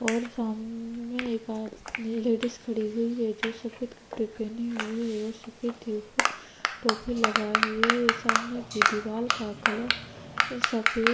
और सामने एक आद लेडीज खड़ीं हुई है जो सफ़ेद कपडे पहने हुए है और सफ़ेद ही उपर टोपी लगाये हुए है सामने की दीवार का कलर सफ़ेद --